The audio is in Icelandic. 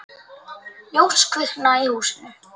Ljós kviknar í húsinu.